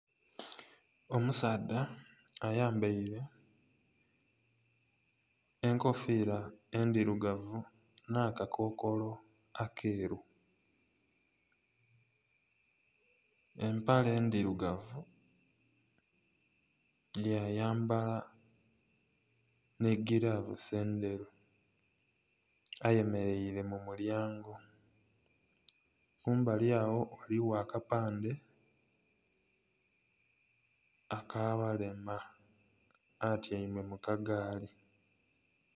Omusaadha ayambaire enkofira endhirugavu na'kakokolo akeeru, empale ndhirugavu ya yambala nhi gilavusi endheru ayemereire mu mulyango, kumbali agho ghaligho aka pandhe aka balema atyaime mu ka gaali.